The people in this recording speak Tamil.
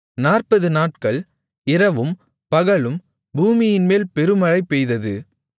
நாற்பது நாட்கள் இரவும் பகலும் பூமியின்மேல் பெருமழை பெய்தது